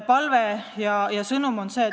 Palun aega juurde!